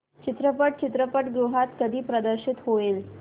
चित्रपट चित्रपटगृहात कधी प्रदर्शित होईल